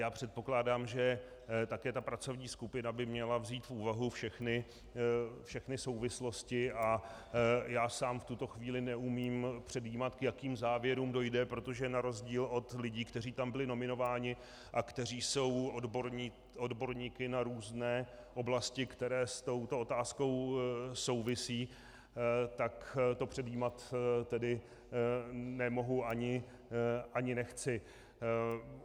Já předpokládám, že také ta pracovní skupina by měla vzít v úvahu všechny souvislosti, a já sám v tuto chvíli neumím předjímat, k jakým závěrům dojde, protože na rozdíl od lidí, kteří tam byli nominováni a kteří jsou odborníky na různé oblasti, které s touto otázkou souvisí, tak to předjímat tedy nemohu ani nechci.